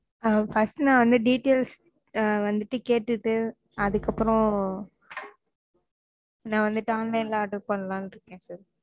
அஹ் first நா வந்து details வந்துட்டு கேட்டுட்டு அதுக்கப்புறம் நா வந்துட்டு online ல order பண்ணலாம் னு இருக்கேன் sir